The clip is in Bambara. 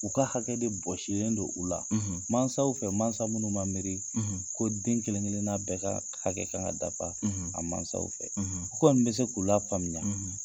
U ka hakɛ de bɔsilen don u la mansaw fɛ mansa minnu ma miiri, ko den kelen-kelenna bɛ ka hakɛ kan ka dafa a mansaw fɛ. u kɔni bɛ se k'u lafaamuya.